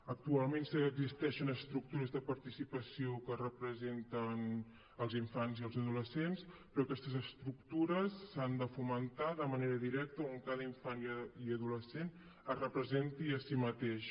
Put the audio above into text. actualment sí que existeixen estructures de participació que representen els infants i els adolescents però aquestes estructures s’han de fomentar de manera directa on cada infant i adolescent es representi a si mateix